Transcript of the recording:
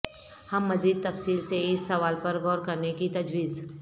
ہم مزید تفصیل سے اس سوال پر غور کرنے کی تجویز